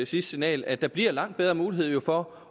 sidste signal at der bliver langt bedre mulighed for